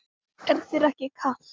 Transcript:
Er þér ekki kalt?